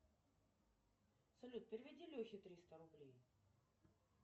салют переведи лехе триста рублей